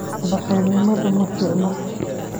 Bakelinimadha maficno.